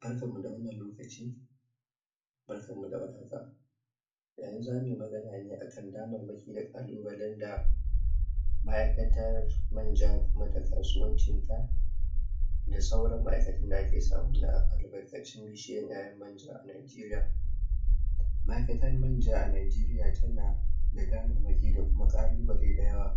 Barkan mu da wannan lokaci barkan mu da war haka yanzu za muyi magana ne akan dammamaki da Ƙalubalen da ma'aikatan manja kuma da kasuwancin ta da suran ma'aikatan da ake samar da bishiyan yayan manja a najeriya ma'aikatar manja a najeriya tana tanada dammamaki da kuma Ƙalubale da yawa